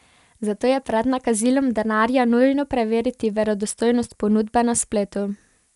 Zato je pred nakazilom denarja nujno preveriti verodostojnost ponudbe na spletu.